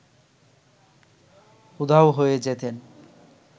উধাও হয়ে যেতেন